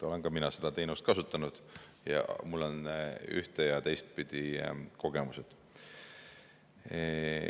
Olen ka mina seda teenust kasutanud ja mul on ühte‑ ja teistpidi kogemused.